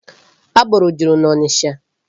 Agboro juru n'Ọnịcha.